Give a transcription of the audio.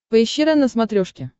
поищи рен на смотрешке